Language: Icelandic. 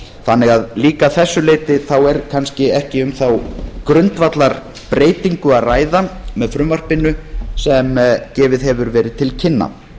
þannig að líka að þessu leyti er kannski ekki um þá grundvallarbreytingu að ræða með frumvarpinu sem gefið hefur verið til kynna